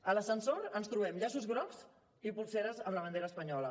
a l’ascensor ens trobem llaços grocs i polseres amb la bandera espanyola